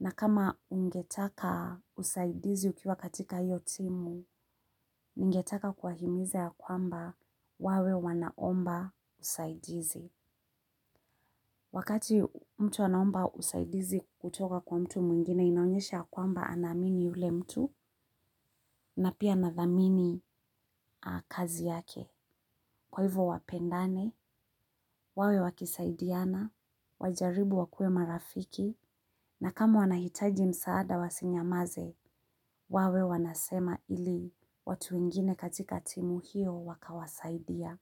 na kama ungetaka usaidizi ukiwa katika hiyo timu. Ningetaka kuwahimiza ya kwamba wawe wanaomba usaidizi. Wakati mtu anaomba usaidizi kutoka kwa mtu mwingine inaonyesha kwamba anaamini ule mtu na pia anadhamini kazi yake. Kwa hivyo wapendane, wawe wakisaidiana, wajaribu wakue marafiki na kama wanahitaji msaada wasinyamaze, wawe wanasema ili watu wengine katika timu hiyo wakawasaidia.